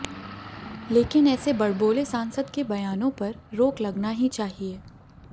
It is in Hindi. लेकिन ऐसे बड़बोले सांसद के बयानों पर रोक लगना ही चाहिए